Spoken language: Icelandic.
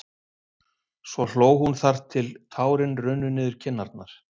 Svo hló hún þar til tárin runnu niður kinnarnar.